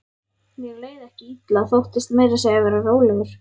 Mér leið ekki illa, þóttist meira að segja vera rólegur.